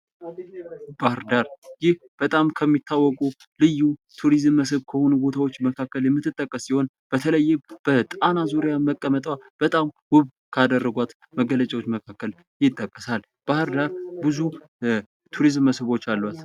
ባህርዳር በጣም ከሚታወቁ ልዩ ቱሪዝም መስብን ከሆኑ ቦታዎች መካከል በተለይም በጣና ዙርያ መቀመጧ ውብ ካደረጓት መገለጫዋታዎች መካከል ይጠቀሳል። ባህርዳር ብዙ የቱሪስት መስህቦች አሉት።